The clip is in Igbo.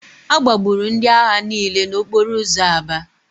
A gbagburu ndị agha niile n'okporo ụzọ Aba